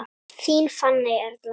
Þín Fanney Erla.